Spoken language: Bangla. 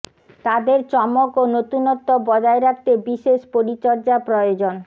তাদের চমক ও নতুনত্ব বজায় রাখতে বিশেষ পরিচর্যা প্রয়োজন